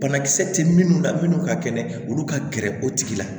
Banakisɛ tɛ minnu la minnu ka kɛnɛ olu ka gɛrɛ o tigi la